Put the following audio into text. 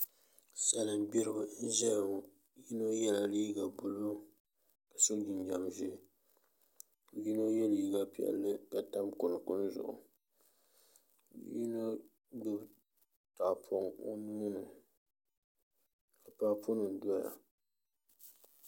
Salin gbiribi n ʒɛya ŋo yino yɛla liiga buluu ka so jinjɛm ʒiɛ ka yino yɛ liiga piɛlli ka tam kunkun zuɣu yino gbubi tahapoŋ o nuuni ka paapu nim doya